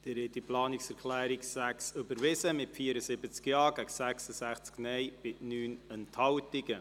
Sie haben die Planungserklärung 6 überwiesen mit 74 Ja- gegen 66 Nein-Stimmen und 9 Enthaltungen.